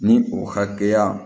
Ni o hakɛya